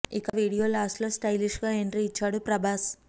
ఇక video last లో stylish గా ఎంట్రీ ఇచ్చాడు ప్రభాస్